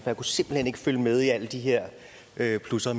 kunne simpelt hen ikke følge med i alle de her her plusser